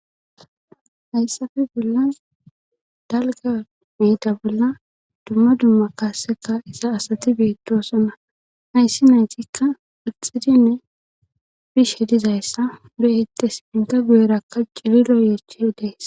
Hayssafe bolla dalga miida bolla dumma dumma kaaseka isa asati beettosonna hayssi naytikka ixxidinne bish hidizayssa du7hite s minta guyerakka ciliro yeeche hideys.